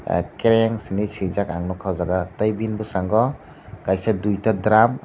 orange hinwi swijak nukha ang oh jaga tei bini bwskango kaisa duita drum.